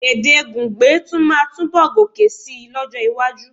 Èdè Gungbe tún máa túnbọ̀ gòkè síi lọ́jọ́-iwájú.